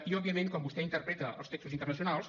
i òbviament quan vostè interpreta els textos internacionals